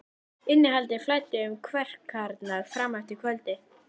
Innihaldið flæddi um kverkarnar fram eftir kvöldi.